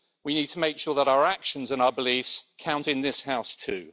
we need to make sure that our actions and our beliefs count in this House too.